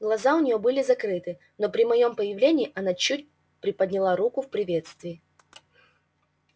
глаза у неё были закрыты но при моём появлении она чуть приподняла руку в приветствии